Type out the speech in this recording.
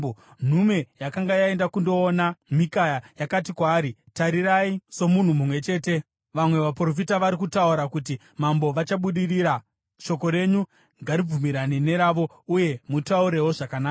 Nhume yakanga yaenda kundodana Mikaya yakati kwaari, “Tarirai, somunhu mumwe chete, vamwe vaprofita vari kutaura kuti mambo vachabudirira. Shoko renyu ngaribvumirane neravo, uye mutaurewo zvakanaka.”